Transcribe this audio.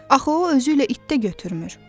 Axı o özü ilə it də götürmür.